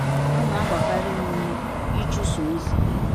Ha na-agbakarị m ụme ịchụso ozi.